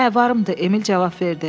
Hə, varımdır, Emil cavab verdi.